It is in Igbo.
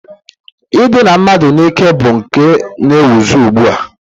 I dina mmadụ n'ike bụ nke na-ewuzi ugbua.